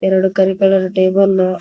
ಎರಡು ಕರಿ colour table --